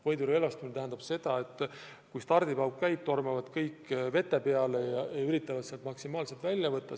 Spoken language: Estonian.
Võidurelvastumine tähendab seda, et kui stardipauk käib, siis sööstavad kõik vete peale ja üritavad sealt maksimaalselt välja võtta.